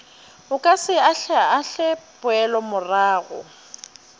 o ka se ahlaahle poelomorago